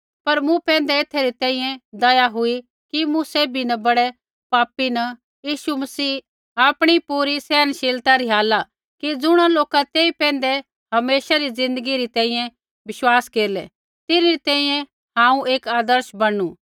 पर मूँ पैंधै एथै री तैंईंयैं दया हुई कि मूँ सैभी न बड़ै पापी न यीशु मसीह आपणी पूरी सहनशीलता रिहाला कि ज़ुणा लोका तेई पैंधै हमेशा री ज़िन्दगी री तैंईंयैं विश्वास केरलै तिन्हरी तैंईंयैं हांऊँ एक आदर्श बणनू